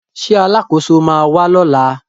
Ṣé Alákóso ma wà lọ́la?